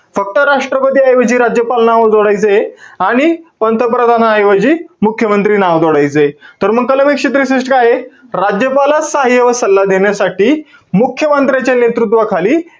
फक्त राष्ट्रपती ऐवजी राज्यपाल नाव जोडायचंय. आणि पंतप्रधानाऐवजी मुख्यमंत्री नाव जोडायचंय. तर मग कलम एकशे त्रेसष्ट काये? राज्यपालास सहाय्य्य व सल्ला देण्यासाठी, मुख्य मंत्र्याच्या नेतृत्वाखाली,